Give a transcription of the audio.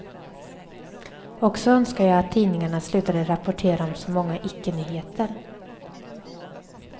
Och så önskar jag att tidningarna slutade rapportera om så många ickenyheter.